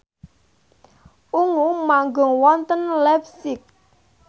Ungu manggung wonten leipzig